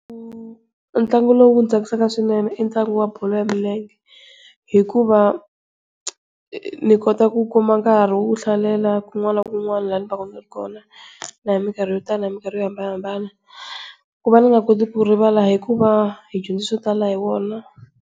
Ntlangu lowu ndzi tsakisaka swinene i ntlangu wa bolo ya milenge, hikuva ni kota ku kuma nkarhi wo hlalela kun'wana na kun'wana la ni va ka ni ri kona, na hi mikarhi yo tala na hi mikarhi yo hambanahambana. Ku va ni nga koti ku rivala i ku va hi dyondze swo tala hi wona.